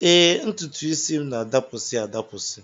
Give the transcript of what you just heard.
Ee, ntụtụisi m na-adapụsị adapụsị